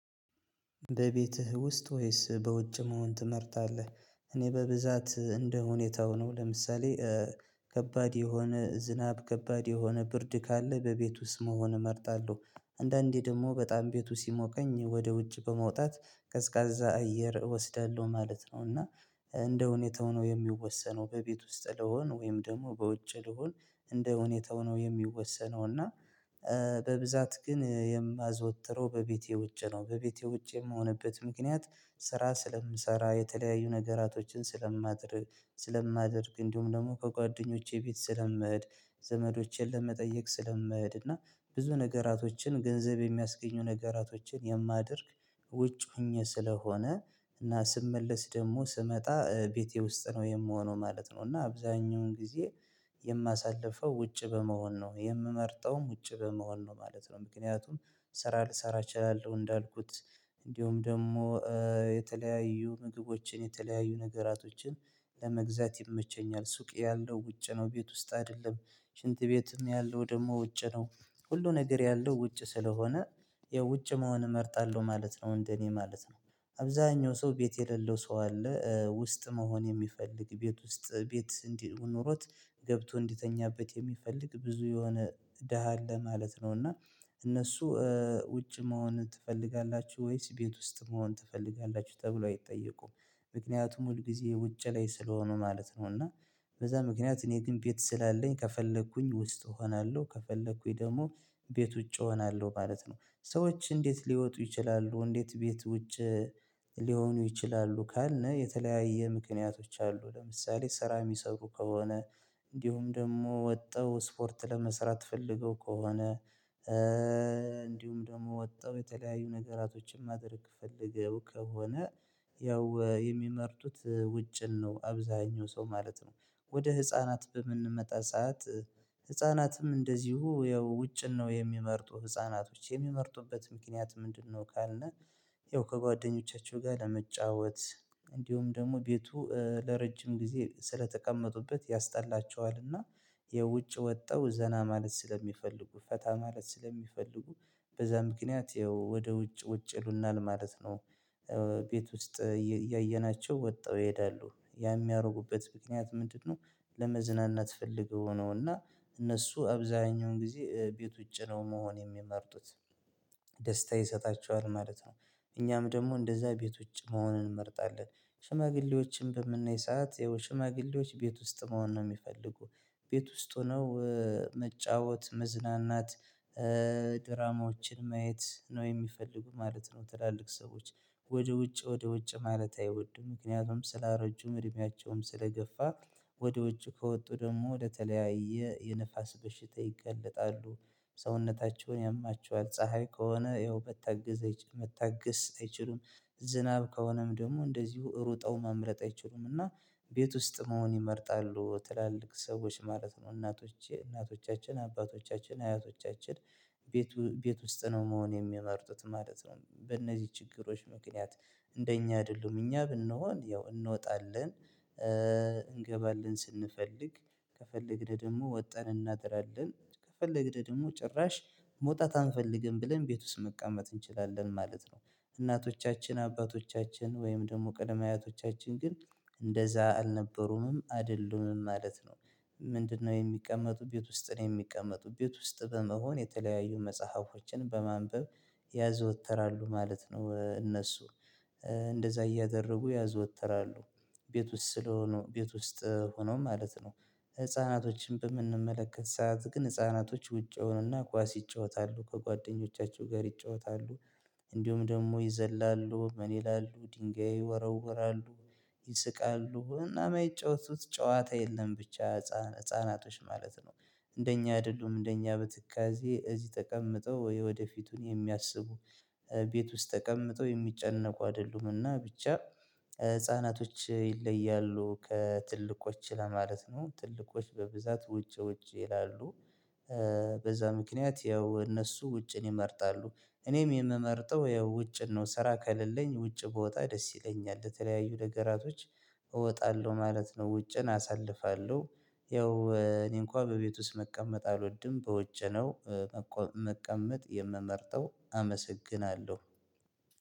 በቤትህ ውስጥ ወይስ በውጭ መሆን ትመርጣለህ? እኔ በብዛት እንደ ሁኔታው ነው። ለምሳሌ ከባድ የሆነ ዝናብ ከባድ የሆነ ብርድ ካለ በቤት ውስጥ መሆን እመርጣለሁ። አንዳንዴ ደግሞ በጣም ቤቱ ሲሞቀኝ ወደ ውጭ በመውጣት ቀዝቃዛ አየር እወስዳለሁ ማለት ነው። እና እንደ ሁኔታው ነው የሚወሰነው በቤት ውስጥ ልሆን ወይም ደግሞ በውጭ ልሁን። እንደ ሁኔታው ነው የሚወሰነው። እና በብዛት ግን የማዘወትረው በቤቴ ውጭ ነው። በቤቴ ውጭ የምሆንበት ምክንያት ስራ ስለምሰራ የተለያዩ ነገራቶችን ስለማድርግ። ስለማደርግ እንዲሁም ደግሞ ከጓደኞቼ ቤት ስለምህድ። ዘመዶቼን ለመጠየቅ ስለምህድ እና ብዙ ነገራቶችን ገንዘብ የሚያስገኙ ነገራቶችን የማደርግ ውጭ ሆኜ ስለሆነ። እና ስመለስ ደግሞ ስመጣ ቤቴ ውስጥ ነው የምሆነው ማለት ነው። እና አብዛኛውን ጊዜ የማሳልፈው ውጭ በመሆን ነው የምመርጠውም ውጭ በመሆን ነው ማለት ነው። ምክንያቱም ስራ ልሰራ እችላለሁ። እንዳልኩት እንዲሁም ደግሞ የተለያዩ ምግቦችን የተለያዩ ነገራቶችን ለመግዛት ይመቸኛል። ሱቅ ያለው ውጭ ነው ቤት ውስጥ አይደለም። ሽንት ቤትም ያለው ደግሞ ውጭ ነው። ሁሉ ነገር ያለው ውጭ ስለሆነ የውጭ መሆን እመርጣለሁ ማለት ነው። እንደኔ ማለት ነው። አብዛኛው ሰው ቤት የሌለው ሰው አለ ውስጥ መሆን የሚፈልግ ቤት ውስጥ ቤት እንዲህ ኖሮት ገብቶ እንዲተኛበት የሚፈልግ ብዙ የሆነ ደሃ አለ ማለት ነው። እና እነሱ ውጭ መሆን ትፈልጋላችሁ ወይስ ቤት ውስጥ መሆን ትፈልጋላችሁ ተብሎ አይጠየቁም። ምክንያቱም ሁል ጊዜ ውጭ ላይ ስለሆኑ ማለት ነው። እና በዛ ምክንያት እኔ ግን ቤት ስላለኝ ከፈለኩኝ ውስጥ እሆናለሁ ከፈለኩኝ ደግሞ ቤት ውጪ እሆናለሁ ማለት ነው። ሰዎች እንዴት ሊወጡ ይችላሉ። እንዴት ቤት ውጭ ሊሆኑ ይችላሉ። ካልነ የተለያየ ምክንያቶች አሉ ለምሳሌ ስራ የሚሰሩ ከሆነ። እንዲሁም ደግሞ ወጠው ስፖርት ለመስራት ፈልገው ከሆነ። እንዲሁም ደግሞ ወጥተው የተለያዩ ነገራቶችን ማድረግ ፈልገው ከሆነ። ያው የሚመርጡት ውጭን ነው አብዛኛው ሰው ማለት ነው። ወደ ህፃናት በምንመጣ ሰዓት ህፃናትም እንደዚሁ ያው ውጭን ነው የሚመርጡ ህፃናቶች የሚመርጡበት ምክንያት ምንድነው? ካልን ያው ከጓደኞቻቸው ጋር ለመጫወት እንዲሁም ደግሞ ቤቱ ለረጅም ጊዜ ስለተቀመጡበት ያስጣላቸዋልና። የውጭ ወጠው ዘና ማለት ስለሚፈልጉ ፈታ ማለት ስለሚፈልጉ። በዛ ምክንያት ያው ወደ ውጭ ውጭ ይሉናል ለማለት ነው። ቤት ውስጥ እያየናቸው ወጠው ይሄዳሉ ያን የሚያደርጉበት ምክንያት ምንድነው? ለመዝናናት ፈልገው ነው። እና እነሱ አብዛኛውን ጊዜ ቤት ውጪ ነው መሆን የሚመርጡት። ደስታ ይሰጣቸዋል ማለት ነው። እኛም ደግሞ እንደዛ ቤት ውጭ መሆንን እንመርጣለን። ሽማግሌዎችን በምናይ ሰዓት ያው ሽማግሌዎች ቤት ውስጥ መሆን ነው የሚፈልጉ። ቤት ውስጥ ሆነው መጫወት መዝናናት ድራማዎችን ማየት ነው የሚፈልጉ ማለት ነው። ትላልቅ ሰዎች ወደ ውጭ ወደ ውጭ ማለት አይወዱም ምክንያቱም ስላረጁም እድሜያቸውም ስለገፋ። ወደ ውጭ ከወጡ ደግሞ ለተለያየ የንፋስ በሽታ ይገለጣሉ። ሰውነታቸውን ያማቸዋል ፀሀይ ከሆነ ያው በተገዘ መታገስ አይችሉም። ዝናብ ከሆነም ደግሞ እንደዚሁ ሩጠው መምረጥ አይችሉም እና። ቤት ውስጥ መሆን ይመርጣሉ ትላልቅ ሰዎች ማለት ነው። እናቶቼ እናቶቻችን አባቶቻችን አያቶቻችን ቤቱ ቤት ውስጥ ነው መሆን የሚመርጡት ማለት ነው። በእነዚህ ችግሮች ምክንያት እንደኛ አይደሉም እኛ ብንሆን ያው እንወጣለን። እንገባለን ስንፈልግ ከፈለግን ደግሞ ወጠን እናድራለን ከፈለግን ደግሞ ጭራሽ መውጣት አንፈልግም ብለን ቤት ውስጥ መቀመጥ እንችላለን ማለት ነው። እናቶቻችን አባቶቻችን ወይም ደግሞ ቀደማያቶቻችን ግን እንደዛ አልነበሩንም አይደሉምም ማለት ነው። ምንድነው የሚቀመጡ ቤት ውስጥ ነው የሚቀመጡ ቤት ውስጥ በመሆን የተለያዩ መጽሐፎችን በማንበብ። ያዘወትራሉ ማለት ነው። እነሱ እንደዛ እያደረጉ ያዘወትራሉ። ቤት ውስጥ ስለሆኑ ቤት ውስጥ ሆኖ ማለት ነው። ህፃናቶችን በምንመለከት ሰዓት ግን ህፃናቶች ውጪ ይሆኑና ኳስ ይጫወታሉ ከጓደኞቻቸው ጋር ይጫወታሉ። እንዲሁም ደግሞ ይዘላሉ ምን ይላሉ ድንጋይ ይወረውራሉ። ይስቃሉ እና የማይጫወቱት ጨዋታ የለም ብቻ ህፃን ህፃናቶች ማለት ነው። እንደኛ አይደሉም እንደኛ በትካዜ እዚህ ተቀምጠው የወደፊቱን የሚያስቡ ቤት ውስጥ ተቀምጠው የሚጨነቁ አይደሉምና ብቻ። ህፃናቶች ይለያሉ ከትልቆች ለማለት ነው። ትልቆች በብዛት ውጪ ውጪ ይላሉ። በዛ ምክንያት ያው እነሱ ውጪን ይመርጣሉ። እኔም የምመርጠው ያው ውጭን ነው ስራ ከሌለኝ ውጭ ብወጣ ደስ ይለኛል ለተለያዩ ነገራቶች እወጣለሁ ማለት ነው። ውጭን አሳልፋለሁ። ያው እኔ እንኳን በቤት ውስጥ መቀመጥ አልወድም በውጭ ነው። መቀመጥ የምመርጠው አመሰግናለሁ።